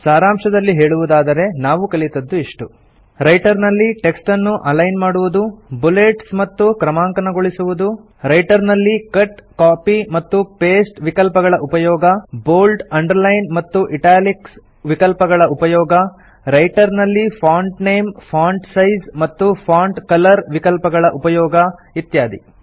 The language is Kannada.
ಸಾರಾಂಶದಲ್ಲಿ ಹೇಳುವುದಾದರೆ ನಾವು ಕಲಿತದ್ದು ಇಷ್ಟು ರೈಟರ್ ನಲ್ಲಿ ಟೆಕ್ಸ್ಟ್ ಅನ್ನು ಅಲೈನ್ ಮಾಡುವುದು ಬುಲೆಟ್ಸ್ ಮತ್ತು ಕ್ರಮಾಂಕನಗೊಳಿಸುವುದು ರೈಟರ್ ನಲ್ಲಿ ಕಟ್ ಕಾಪಿ ಮತ್ತು ಪಾಸ್ಟೆ ವಿಕಲ್ಪಗಳ ಉಪಯೋಗ ಬೋಲ್ಡ್ ಅಂಡರ್ಲೈನ್ ಮತ್ತು ಇಟಾಲಿಕ್ಸ್ ವಿಕಲ್ಪಗಳ ಉಪಯೋಗ ರೈಟರ್ ನಲ್ಲಿ ಫಾಂಟ್ ನೇಮ್ ಫಾಂಟ್ ಸೈಜ್ ಮತ್ತು ಫಾಂಟ್ ಕಲರ್ ವಿಕಲ್ಪಗಳ ಉಪಯೋಗ ಇತ್ಯಾದಿ